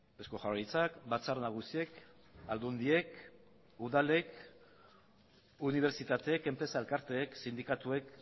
eusko jaurlaritzak batzar nagusiek aldundiek udalek unibertsitateek enpresa elkarteek sindikatuek